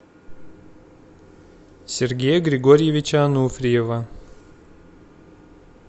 сергея григорьевича ануфриева